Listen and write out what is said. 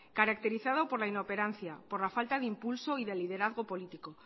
caracterizado por la inoperancia por la falta de impulso y de liderazgo político